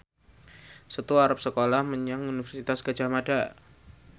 Setu arep sekolah menyang Universitas Gadjah Mada